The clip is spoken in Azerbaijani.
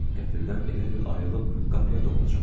Qəfildən elə bil ayılıb qapıya doğru cumdum.